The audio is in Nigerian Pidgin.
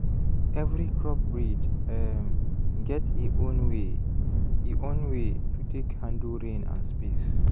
every crop breed um get e own way e own way to take handle rain and space.